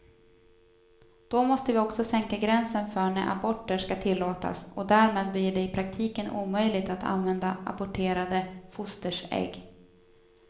Då måste vi också sänka gränsen för när aborter ska tillåtas och därmed blir det i praktiken omöjligt att använda aborterade fosters ägg.